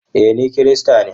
Ee, ni Kirista ne.